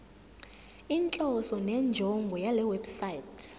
inhloso nenjongo yalewebsite